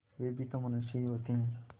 वे भी तो मनुष्य ही होते हैं